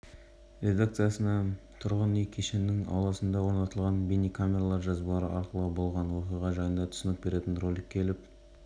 зардап шеккен баланың анасы анастасия ли мұнымен келіспейді есесіне ол айыпталушылар жазадан құтылуға әрекетеніп жатқанын